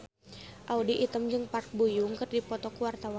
Audy Item jeung Park Bo Yung keur dipoto ku wartawan